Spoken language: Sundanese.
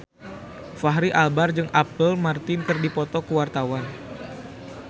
Fachri Albar jeung Apple Martin keur dipoto ku wartawan